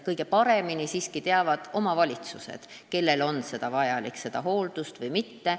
Kõige paremini teavad siiski omavalitsused, kellel on hooldust vaja, kellel ehk mitte.